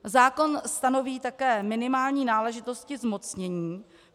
Zákon stanoví také minimální náležitosti zmocnění.